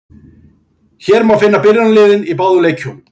Hér má finna byrjunarliðin í báðum leikjunum.